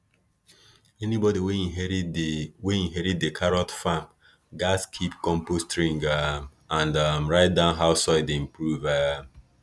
anybody wey inherit di wey inherit di carrot farm gats keep compost ring um and um write down how soil dey improve um